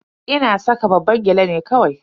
Ina saka babban gyale ne kawai.